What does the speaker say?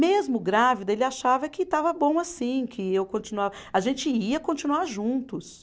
Mesmo grávida, ele achava que estava bom assim, que eu continua, a gente ia continuar juntos.